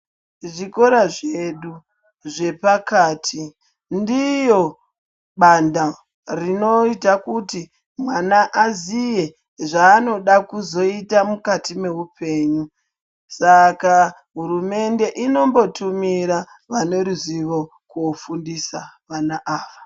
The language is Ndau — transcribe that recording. Zvikora zvedu zvepakati ndiyo banda rinoita kuti mwana aziye zvaanoda kuzoita mukati meupenyu. Saka Hurumende inombotumira vaneruzivo kofundisa vana ava.